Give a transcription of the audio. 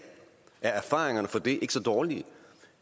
er erfaringerne for det ikke så dårlige